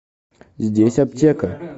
здесь аптека